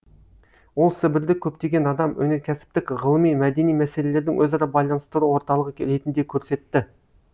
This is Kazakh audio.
ол сібірді көптеген адам өнеркәсіптік ғылыми мәдени мәселелердің өзара байланыстыру орталығы ретінде көрсетті